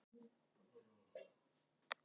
Það var í